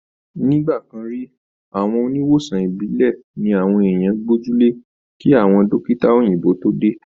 Ní ìgbàkan rí, àwọn oníwòsàn ìbílẹ̀ ni àwọn èèyàn gbójú le kí àwọn dọ́kítà òyìnbó tó dé